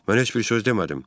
Mən heç bir söz demədim.